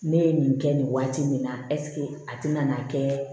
Ne ye nin kɛ nin waati nin na a tɛna n'a kɛ